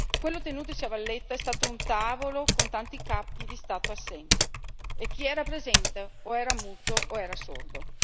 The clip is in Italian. Quello tenutosi a La Valletta è stato un tavolo con tanti capi di Stato assenti e chi era presente o era muto o era sordo.